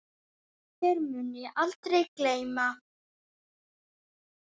Þér mun ég aldrei gleyma.